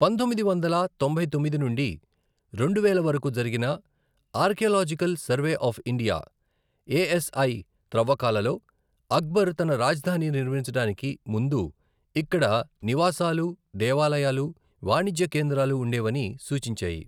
పంతొమ్మిది వందల తొంభై తొమ్మిది నుండి రెండు వేల వరకు జరిగిన archaeological survey of India, A S I త్రవ్వకాలలో అక్బర్ తన రాజధాని నిర్మించడానికి ముందు ఇక్కడ నివాసాలు, దేవాలయాలు, వాణిజ్య కేంద్రాలు ఉండేవని సూచించాయి.